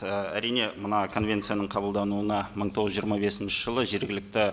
ы әрине мына конвенцияның қабылдануына мың тоғыз жүз жиырма бесінші жылы жергілікті